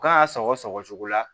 U kan ka sɔgɔsɔgɔ la